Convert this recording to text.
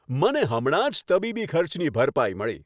મને હમણાં જ તબીબી ખર્ચની ભરપાઈ મળી.